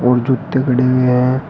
और जूते पड़े हुए हैं।